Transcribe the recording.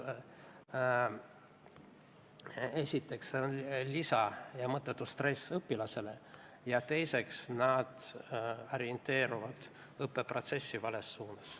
Esiteks on see mõttetu lisastress õpilasele ja teiseks nad orienteerivad õppeprotsessi vales suunas.